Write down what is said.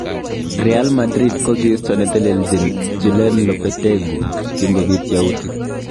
Real Madrid kokiisto neteleljin Julen Lopetegu kingobit yautik.